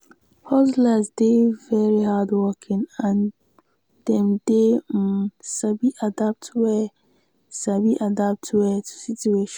hustlers dey de very hardworking and dem dey um sabi adapt well sabi adapt well to situations